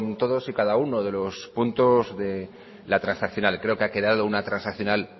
todos y cada uno de los puntos de la transaccional creo que ha quedado una transaccional